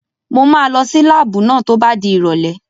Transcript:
Mo máa lọ sí láàbù náà tó bá di ìrọ̀lẹ́